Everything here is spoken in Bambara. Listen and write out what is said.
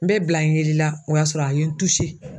N bɛ bila n yeli la o y'a sɔrɔ a ye n